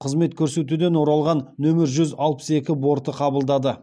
қызмет көрсетуден оралған нөмір жүз алпыс екі борты қабылдады